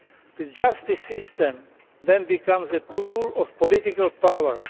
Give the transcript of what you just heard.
The justice system then becomes a tool of political power.